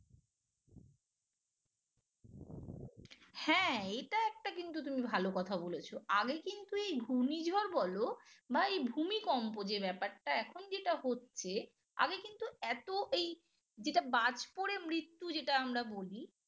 হ্যাঁ এটা একটা কিন্তু তুমি ভালো কথা বলেছো আগে কিন্তু এই ঘূর্ণিঝড় বলো বা এই ভূমিকম্প যে ব্যাপারটা এখন যেটা হচ্ছে আগে কিন্তু এত এই যেটা বাজ পড়ে মৃত্যু যেটা আমরা বলি